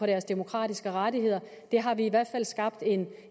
deres demokratiske rettigheder det har vi i hvert fald skabt en